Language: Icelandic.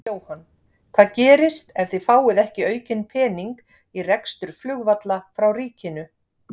Jóhann: Hvað gerist ef að þið fáið ekki aukinn pening í rekstur flugvalla frá ríkinu?